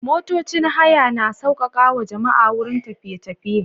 Motocin haya na sauƙaƙawa jama'a wurin tafiye-tafiye.